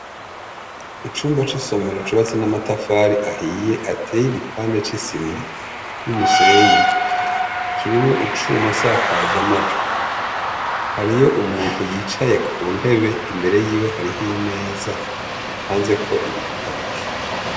Icumba c' isomero cubatse n' amatafari ahiye ateye igipande c' isima n' umusenyi, kirimwo icuma nsakazamajwi. Hariyo umuntu yicaye Ku meza imbere yiwe hariho imeza ipanzeko ibitabo.